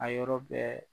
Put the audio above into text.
A yɔrɔ bɛɛ